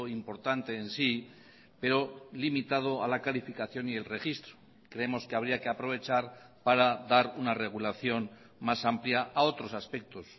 importante en sí pero limitado a la calificación y el registro creemos que habría que aprovechar para dar una regulación más amplia a otros aspectos